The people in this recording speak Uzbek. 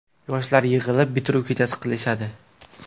Yoshlar yig‘ilib, bitiruv kechasi qilishadi.